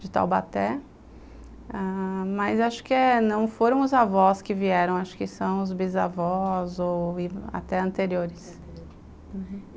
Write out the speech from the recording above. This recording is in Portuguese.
de Taubaté, ãh... mas acho que não foram os avós que vieram, acho que são os bisavós ou até anteriores. aham